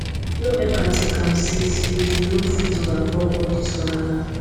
no eva tink am sey sey you no fit overcome all dis wahala